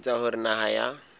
ho etsa hore naha ya